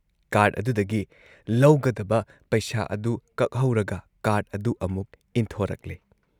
Card ꯑꯗꯨꯗꯒꯤ ꯂꯧꯒꯗꯕ ꯄꯩꯁꯥ ꯑꯗꯨ ꯀꯛꯍꯧꯔꯒ ꯀꯥꯔꯗ ꯑꯗꯨ ꯑꯃꯨꯛ ꯏꯟꯊꯣꯔꯛꯂꯦ ꯫